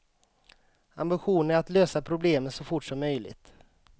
Ambitionen är att lösa problemen så fort som möjligt.